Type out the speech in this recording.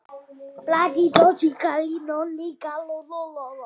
Þetta var Hugrún.